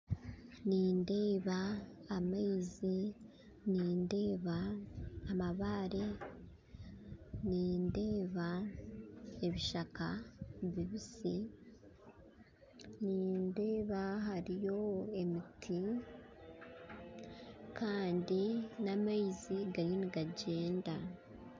Nindeeba amaizi nindeeba amabaare nindeeba ebishaaka bibiisi nindeeba hariyo emiti kandi n'amaizi gariyo nigagyenda